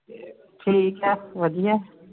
ਠੀਕ ਆ ਵਦੀਆ